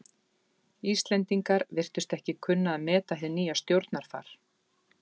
Íslendingar virtust ekki kunna að meta hið nýja stjórnarfar.